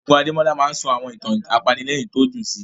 Ẹ̀gbọ́n Adémọ́lá máa ń sọ àwọn ìtàn apanilẹ́rìn tí ó dùn sí